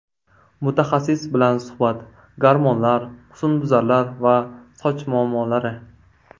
Mutaxassis bilan suhbat: Gormonlar, husnbuzarlar va soch muammolari.